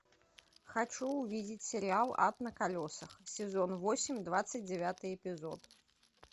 хочу увидеть сериал ад на колесах сезон восемь двадцать девятый эпизод